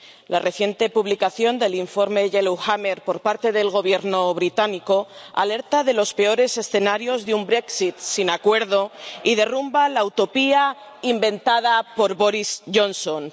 La reciente publicación del informe Yellowhammer por parte del Gobierno británico alerta de los peores escenarios de un Brexit sin acuerdo y derrumba la utopía inventada por Boris Johnson.